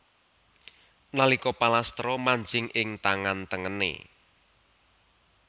Nalika palastra manjing ing tangan tengené